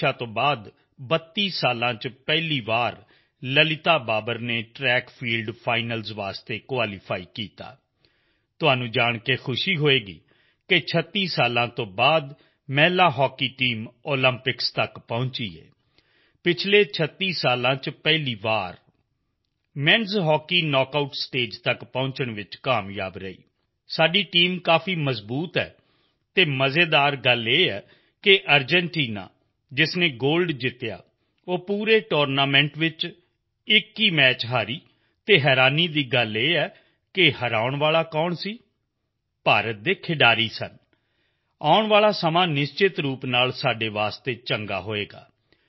ਊਸ਼ਾ ਤੋਂ ਬਾਅਦ 32 ਸਾਲ ਵਿੱਚ ਪਹਿਲੀ ਵਾਰ ਲਲਿਤਾ ਬਾਬਰ ਨੇ ਟ੍ਰੈਕ ਫੀਲਡ ਫਾਈਨਲਜ਼ ਲਈ ਕੁਆਲੀਫਾਈ ਕੀਤਾ ਤੁਹਾਨੂੰ ਜਾਣ ਕੇ ਖੁਸ਼ੀ ਹੋਏਗੀ 36 ਸਾਲ ਤੋਂ ਬਾਅਦ ਮਹਿਲਾ ਹਾਕੀ ਟੀਮ ਓਲੰਪਿਕ ਤੱਕ ਪਹੁੰਚੀ ਪਿਛਲੇ 36 ਸਾਲ ਵਿੱਚ ਪਹਿਲੀ ਵਾਰ menਸ ਹੌਕੀ ਨੌਕ ਆਉਟ ਸਟੇਜ ਤੱਕ ਪਹੁੰਚਣ ਵਿੱਚ ਕਾਮਯਾਬ ਰਹੀ ਸਾਡੀ ਟੀਮ ਕਾਫੀ ਮਜ਼ਬੂਤ ਹੈ ਅਤੇ ਮਜ਼ੇਦਾਰ ਗੱਲ ਇਹ ਹੈ ਕਿ ਅਰਜੈਂਟੀਨਾ ਜਿਸਨੇ ਗੋਲਡ ਜਿੱਤਿਆ ਉਹ ਪੂਰੇ ਟੂਰਨਾਮੈਂਟ ਵਿੱਚ ਇੱਕ ਹੀ ਮੈਚ ਹਾਰੀ ਅਤੇ ਹਰਾਉਣ ਵਾਲਾ ਕੌਣ ਸੀ ਭਾਰਤ ਦੇ ਖਿਡਾਰੀ ਸਨ ਆਉਣ ਵਾਲਾ ਸਮਾਂ ਨਿਸ਼ਚਤ ਰੂਪ ਵਿੱਚ ਸਾਡੇ ਲਈ ਵਧੀਆ ਹੋਏਗਾ